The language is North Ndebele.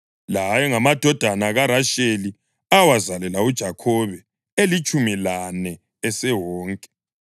La ayengamadodana kaRasheli awazalela uJakhobe, elitshumi lane esewonke.